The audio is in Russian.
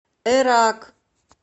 эрак